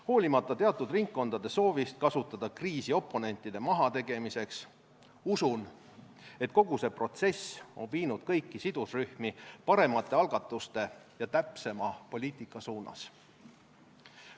Hoolimata teatud ringkondade soovist kasutada kriisi oponentide mahategemiseks, usun, et kogu see protsess on viinud kõiki sidusrühmi paremate algatuste ja täpsema poliitika suunas.